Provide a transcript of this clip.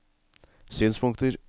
synspunkter